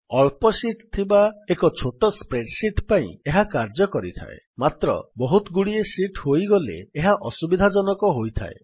ଅଳ୍ପ ଶୀଟ୍ ଥିବା ଏକ ଛୋଟ ସ୍ପ୍ରେଡ୍ ଶୀଟ୍ ପାଇଁ ଏହା କାର୍ଯ୍ୟ କରିଥାଏ ମାତ୍ର ବହୁତ ଗୁଡିଏ ଶୀଟ୍ ହୋଇଗଲେ ଏହା ଅସୁବିଧାଜନକ ହୋଇଥାଏ